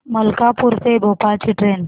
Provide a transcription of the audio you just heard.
मलकापूर ते भोपाळ ची ट्रेन